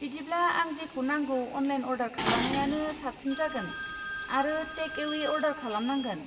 बिदिब्ला आं जेखौ नांगौ अनलाइन अर्डार खालामनायानो साबसिन जागोन आरो टेक एवे अर्डार खालामनांगोन।